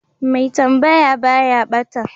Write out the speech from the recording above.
Mai tambaya baya ɓata